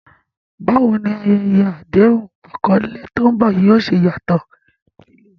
Báwo ni ayẹyẹ àdéhùn àkọlé tó ń bọ̀ yóò ṣe yàtọ̀?